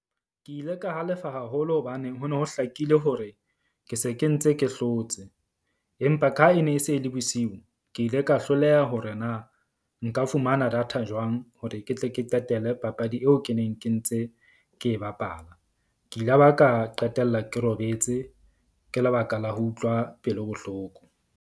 Ke ile ka halefa haholo hobane ho no ho hlakile hore ke se ke ntse ke hlotse. Empa ka e ne e se e le bosiu, ke ile ka hloleha hore na nka fumana data jwang hore ke tle ke qetele papadi eo ke neng ke ntse ke e bapala. Ke ila ba ka qetella ke robetse ke lebaka la ho utlwa pelo bohloko.